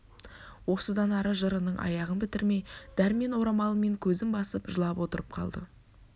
осыдан ары жырының аяғын бітірмей дәрмен орамалымен көзін басып жылап отырып қалды